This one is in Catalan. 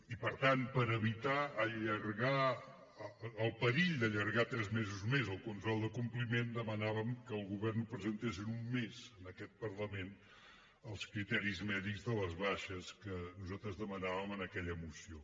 i per tant per evitar el perill d’allargar tres mesos més el control de compliment demanàvem que el govern presentés en un mes en aquest parlament els criteris mèdics de les baixes que nosaltres demanàvem en aquella moció